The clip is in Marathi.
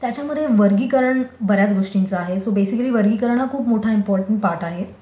त्याच्यामध्ये वर्गीकरण बऱ्याच गोष्टींचं आहे सो बेसिकली वर्गीकरण हा खूप मोठा इम्पॉर्टन्ट पार्ट आहे.